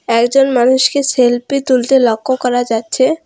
একজন মানুষকে সেল্ফি তুলতে লক্ষ করা যাচ্ছে।